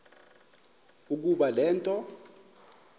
ukuba le nto